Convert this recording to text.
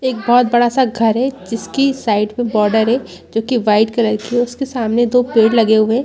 एक बहुत बड़ा सा घर है जिसकी साइड में बॉर्डर है जो कि वाइट कलर की है उसके सामने दो पेड़ लगे हुए हैं।